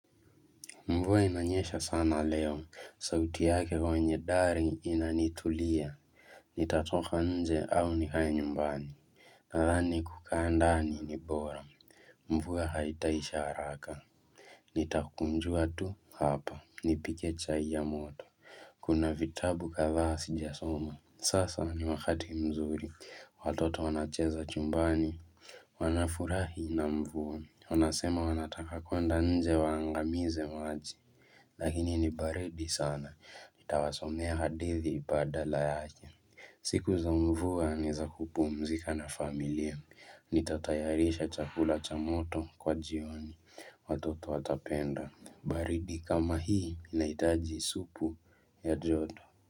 Mvua inanyesha sana leo, sauti yake kwenye dari inanitulia, nitatoka nje au nikae nyumbani, nadhani kukaa ndani ni bora, mvua haitaisha haraka. Nitakunjua tu, hapa, nipike chai ya moto, kuna vitabu kadhaa sijasoma, sasa ni wakati mzuri, watoto wanacheza chumbani. Wanafurahi na mvua. Wanasema wanataka kwenda nje waangamize maji. Lakini ni baridi sana. Nitawasomea hadithi badala yake. Siku za mvua ni za kupumzika na familia. Nitatayarisha chakula cha moto kwa jioni. Watoto watapenda. Baridi kama hii inaitaji supu ya joto.